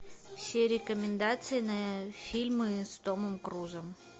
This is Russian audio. все рекомендации на фильмы с томом крузом